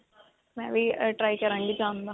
ਮੈਂ ਵੀ try ਕਰਾਂਗੀ ਜਾਣ ਦਾ.